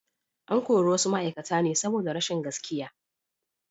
An kori wasu ma’aikata ne saboda rashin gaskiya.